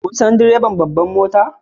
Kun san direban babbar mota?